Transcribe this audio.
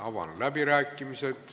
Avan läbirääkimised.